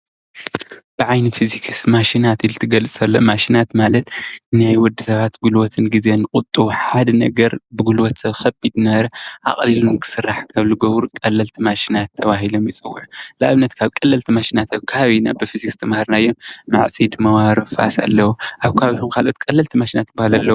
ብዓይኒ ፊዚክስ ማሽናት ኢሉ እንትግለፅ ከሎ ማሽናት ማለት ንወዲ ሰባት ጉልበትን ጊዜ ዝቑጡቡ ሓደ ነገር ጉልበቱ ከቢድ ዝነበረ ኣቕሊሉ እንትስራሕ ካብ ዝገብሩ ቀለልቲ ማሽናት ተባሂሎም ይፅውዑ፡፡ ንኣብነት ካብ ቀለልቲ ማሽናት ኣብ ከባቢና ብፊዚክስ ዝተማሃርናዮም ማዕፂድ ፣ መባሮን ፋስን ኣለው፡፡ ኣብ ከባቢኹም ካልኦት ቀለልቲ ማሽናት ዝባሃሉ ኣለው ዶ?